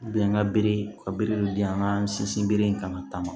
an ka bere ka biriki di an ka sinsin bere in kan ka taa ma